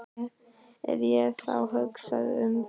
Ef ég þá hugsaði um það.